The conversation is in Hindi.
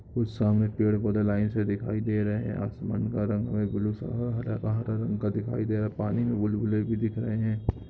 उस सामने पेड़ पौधे लाइन से दिखाई दे रहे हैं आसमान का रंग हमें ब्लू सा हरा हरा रंग दिखाई दे रहा हैं पानी मैं बुल-बुले भी दिख रहे हैं।